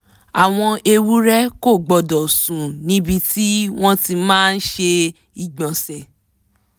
àwọn ewúrẹ́ kò gbọ́dọ̀ sùn níbi tí wọ́n ti máa ṣe ìgbọ̀nsẹ̀